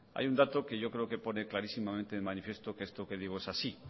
hay un dato que yo creo que pone clarísimamente de manifiesto que esto que digo es así